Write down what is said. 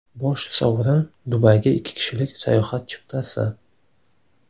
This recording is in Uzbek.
Bosh sovrin Dubayga ikki kishilik sayohat chiptasi!